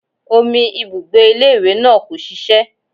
Omi ibùgbé ilé ìwé náà kò ṣiṣẹ́